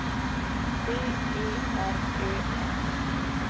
B E R Ö M